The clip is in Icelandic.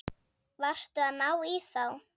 Varstu að ná í þá?